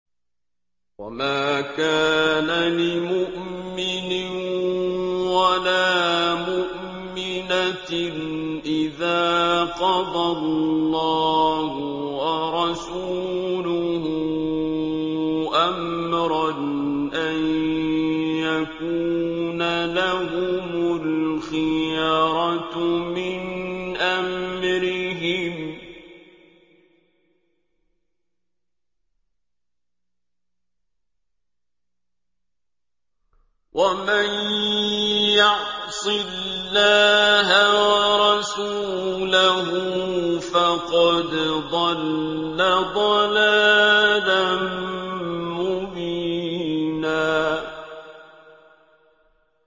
وَمَا كَانَ لِمُؤْمِنٍ وَلَا مُؤْمِنَةٍ إِذَا قَضَى اللَّهُ وَرَسُولُهُ أَمْرًا أَن يَكُونَ لَهُمُ الْخِيَرَةُ مِنْ أَمْرِهِمْ ۗ وَمَن يَعْصِ اللَّهَ وَرَسُولَهُ فَقَدْ ضَلَّ ضَلَالًا مُّبِينًا